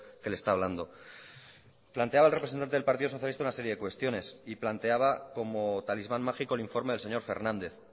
que le está hablando planteaba el representante del partido socialista una serie de cuestiones y planteaba como talismán mágico el informe del señor fernández